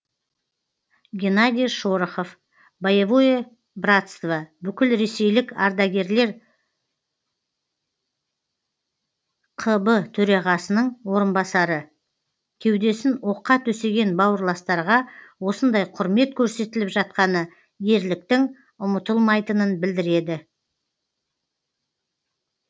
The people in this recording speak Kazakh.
геннадий шорохов боевое братство бүкілресейлік ардагерлер қб төрағасының орынбасары кеудесін оққа төсеген бауырластарға осындай құрмет көрсетіліп жатқаны ерліктің ұмытылмайтынын білдіреді